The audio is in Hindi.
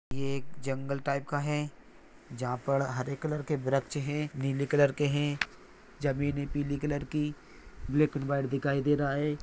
ये एक जंगल टाइप का है जहा पर हरे कलर के व्रक्ष है नीले कलरके है जमीने पीली कलर की ब्लॅक एंड व्हाइट दिखाई दे रहा है।